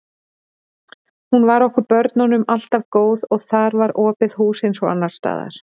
Hún var okkur börnunum alltaf góð og þar var opið hús eins og annars staðar.